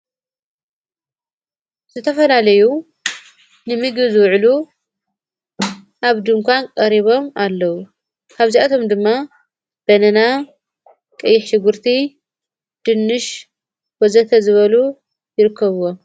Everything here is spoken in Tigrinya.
ዝተፈላለዩ ንሚጊ ዝውዕሉ ኣብ ድንካን ቀሪቦም ኣለዉ ካብዚኣቶም ድማ በነና ቀይሕቲ ጕርቲ ድንሽ ወዘተ ዝበሉ ይርክብዎ።